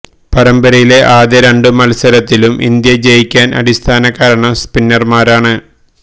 പരമ്പരയിലെ ആദ്യ രണ്ട് മല്സരത്തിലും ഇന്ത്യ ജയിക്കാന് അടിസ്ഥാന കാരണം സ്പിന്നര്മാരാണ്